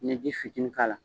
N'i ye ji fitinin k'ala.